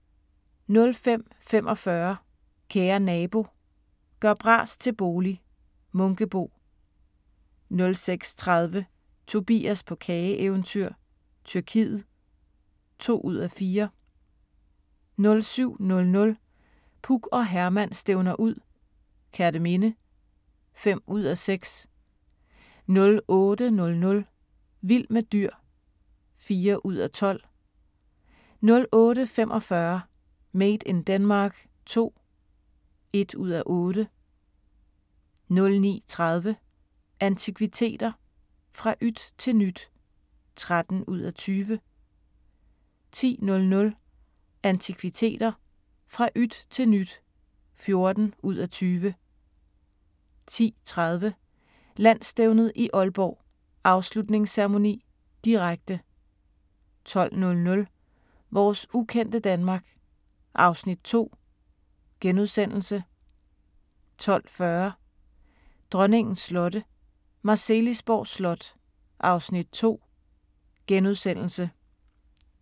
05:45: Kære Nabo – gør bras til bolig - Munkebo 06:30: Tobias på kageeventyr – Tyrkiet (2:4) 07:00: Puk og Herman stævner ud - Kerteminde (5:6) 08:00: Vild med dyr (4:12) 08:45: Made in Denmark II (1:8) 09:30: Antikviteter – fra yt til nyt (13:20) 10:00: Antikviteter – fra yt til nyt (14:20) 10:30: Landsstævnet i Aalborg: Afslutningsceremoni, direkte 12:00: Vores ukendte Danmark (Afs. 2)* 12:40: Dronningens slotte – Marselisborg Slot (Afs. 2)*